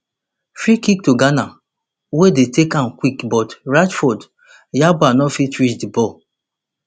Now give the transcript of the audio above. freekick to ghana wey dey take am quick but ransford yeboah no fit reach di ball